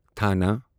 تھانہٕ